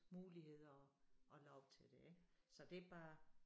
Muligheder og og lov til det ik så det bare